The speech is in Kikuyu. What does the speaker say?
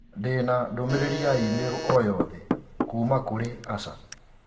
Ndĩ na ndũmĩrĩri ya i-mīrū o yothe kuuma kũrĩ Asha